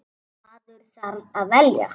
Maður þarf að velja.